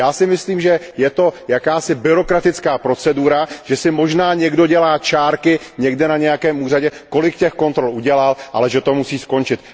Já si myslím, že je to jakási byrokratická procedura, že si možná někdo dělá čárky někde na nějakém úřadě, kolik těch kontrol udělal, ale že to musí skončit.